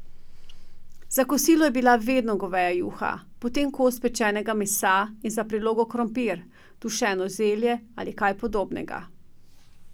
Za kosilo je bila vedno goveja juha, potem kos pečenega mesa in za prilogo krompir, dušeno zelje ali kaj podobnega.